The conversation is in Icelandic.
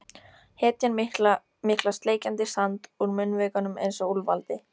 Hetjan mikla sleikjandi sand úr munnvikunum einsog úlfaldi.